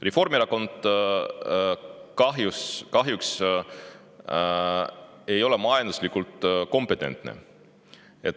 Reformierakond ei ole kahjuks majanduses kompetentne.